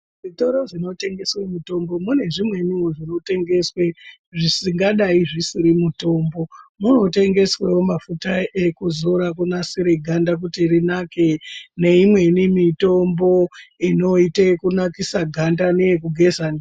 Zvitoro zvinotengeswe mitombo mune zvimweniwo zvinotengeswe zvingadai zvisiri mitombo , munotengeswewo mafuta ekuzora kunasire ganda kuti rinake neimweniwo mitombo inoite kunakisa ganda neekugeza ndiyo